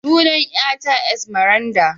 Sunan yar ta Esmeralda.